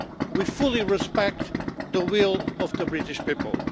We fully respect the will of the British people.